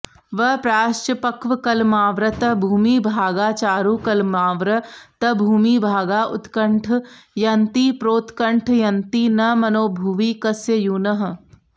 वप्राश्च पक्वकलमावृतभूमिभागाचारुकलमावृतभूमिभागाः उत्कण्ठयन्तिप्रोत्कण्ठयन्ति न मनो भुवि कस्य यूनः